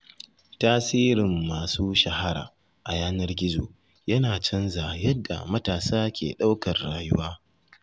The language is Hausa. Tasirin masu shahara a yanar gizo yana canza yadda matasa ke ɗaukar rayuwa.